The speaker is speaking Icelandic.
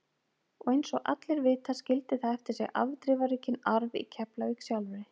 Og eins og allir vita skildi það eftir sig afdrifaríkan arf í Keflavík sjálfri.